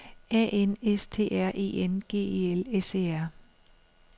A N S T R E N G E L S E R